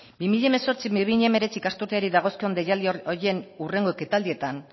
bi mila hemezortzi bi mila hemeretzi ikasturteari dagozkion deialdi horien hurrengo ekitaldietan